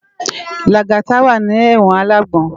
Lagata wá ni èwòn àlágbòn